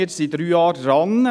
Wir sind drei Jahre daran.